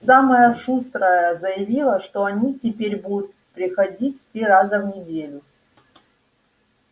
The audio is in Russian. самая шустрая заявила что они теперь будут приходить три раза в неделю